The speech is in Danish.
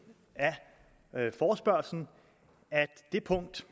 af forespørgslen at det punkt